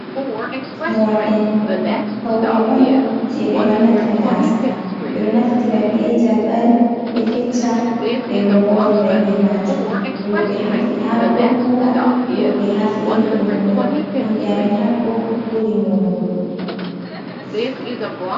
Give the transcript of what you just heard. Moorɗi pawne on jey, ɓe ɗo wanna gaasa, ɓe ɗo naftira be jalɓal, ɓe fecca ɓe moora be maajum rooɓe ɗo moora, worɓe haa feere ɗon moora himɓe amin haɗɗo ɓuri moorugu.